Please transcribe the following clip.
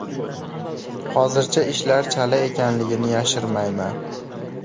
Hozircha ishlar chala ekanligini yashirmayman.